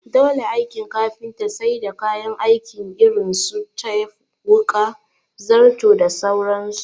Dole aikin kafinta sai da kayan aiki irin su tep wuƙa, zarto da sauran su